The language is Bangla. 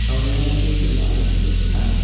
জন্য আদর্শ এস্থান ।